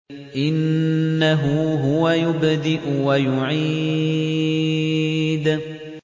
إِنَّهُ هُوَ يُبْدِئُ وَيُعِيدُ